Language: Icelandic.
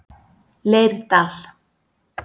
Leirdal